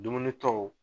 Dumuni tɔw